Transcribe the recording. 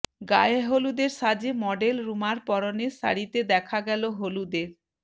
গায়েহলুদের সাজে মডেল রুমার পরনের শাড়িটাতে দেখা গেল হলুদের